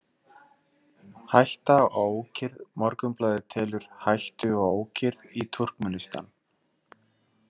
Hætta á ókyrrð Morgunblaðið telur „hættu á ókyrrð“ í Túrkmenistan.